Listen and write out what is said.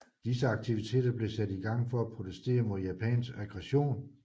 Disse aktiviteter blev sat i gang for at protestere mod japansk aggression